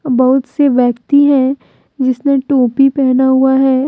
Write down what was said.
बहुत से व्यक्ति है जिसने टोपी पहना हुआ है।